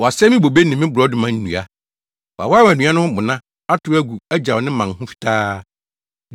Wasɛe me bobe ne me borɔdɔma nnua. Wawaawae nnua no ho bona, atow agu agyaw ne mman ho fitaa.